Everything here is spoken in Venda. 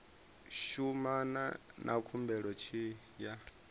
shumana na khumbelo tshi ya